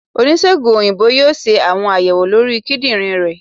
onisegùn oyinbo yóò se awọn ayèwó lorí kíndìnrín ré